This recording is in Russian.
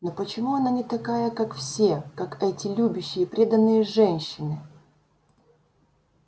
но почему она не такая как все как эти любящие преданные женщины